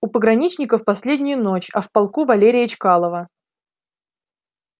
у пограничников последнюю ночь а в полку валерия чкалова